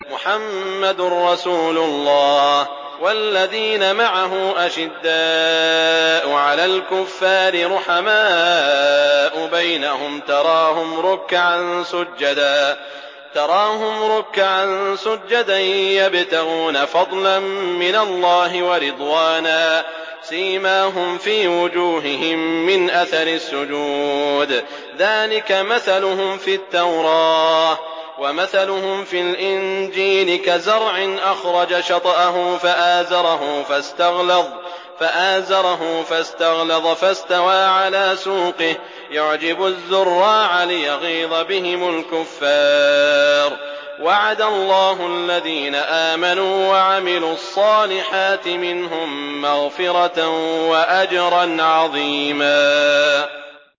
مُّحَمَّدٌ رَّسُولُ اللَّهِ ۚ وَالَّذِينَ مَعَهُ أَشِدَّاءُ عَلَى الْكُفَّارِ رُحَمَاءُ بَيْنَهُمْ ۖ تَرَاهُمْ رُكَّعًا سُجَّدًا يَبْتَغُونَ فَضْلًا مِّنَ اللَّهِ وَرِضْوَانًا ۖ سِيمَاهُمْ فِي وُجُوهِهِم مِّنْ أَثَرِ السُّجُودِ ۚ ذَٰلِكَ مَثَلُهُمْ فِي التَّوْرَاةِ ۚ وَمَثَلُهُمْ فِي الْإِنجِيلِ كَزَرْعٍ أَخْرَجَ شَطْأَهُ فَآزَرَهُ فَاسْتَغْلَظَ فَاسْتَوَىٰ عَلَىٰ سُوقِهِ يُعْجِبُ الزُّرَّاعَ لِيَغِيظَ بِهِمُ الْكُفَّارَ ۗ وَعَدَ اللَّهُ الَّذِينَ آمَنُوا وَعَمِلُوا الصَّالِحَاتِ مِنْهُم مَّغْفِرَةً وَأَجْرًا عَظِيمًا